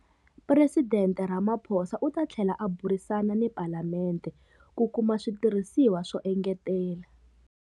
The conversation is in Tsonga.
Presidente Ramaphosa u ta tlhela a burisana ni Palemente ku kuma switirhisiwa swo engetela.